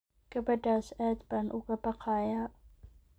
Gabadhaas aad baan uga baqayaa